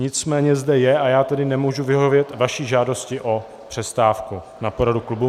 Nicméně zde je a já tedy nemůžu vyhovět vaší žádosti o přestávku na poradu klubu.